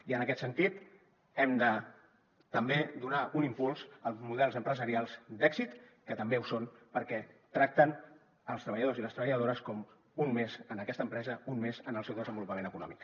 i en aquest sentit hem de també donar un impuls als models empresarials d’èxit que també ho són perquè tracten els treballadors i les treballadores com un més en aquesta empresa un més en el seu desenvolupament econòmic